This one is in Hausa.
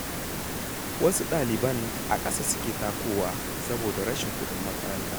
Wasu ɗaliban a ƙasa suke takowa, saboda rashin kuɗin mota.